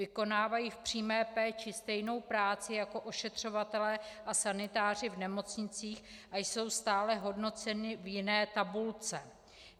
Vykonávají v přímé péči stejnou práci jako ošetřovatelé a sanitáři v nemocnicích a jsou stále hodnoceni v jiné tabulce.